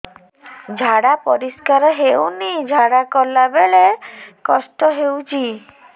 ଝାଡା ପରିସ୍କାର ହେଉନି ଝାଡ଼ା ଗଲା ବେଳେ କଷ୍ଟ ହେଉଚି